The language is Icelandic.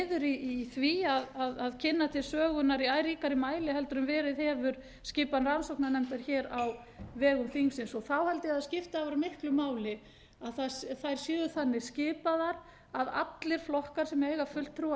liður í því að kynna til sögunnar í æ ríkari mæli en verið hefur skipan rannsóknarnefnda hér á vegum þingsins þá gefa ég að það skipti afar miklu máli að þær séu þannig skipaðar að allir flokkar sem eiga fulltrúa